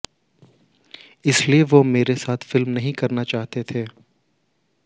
इसलिए वो मेरे साथ फिल्में नहीं करना चाहते थे